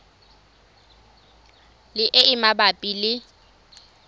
le e e mabapi le